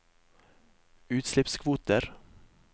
utslippskvoter